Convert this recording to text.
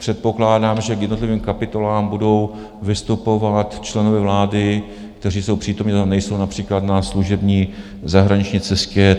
Předpokládám, že k jednotlivým kapitolám budou vystupovat členové vlády, kteří jsou přítomni a nejsou například na služební zahraniční cestě.